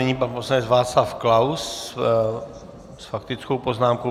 Nyní pan poslanec Václav Klaus s faktickou poznámkou.